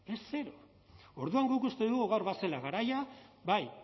es cero orduan guk uste dugu gaur bazela garaia bai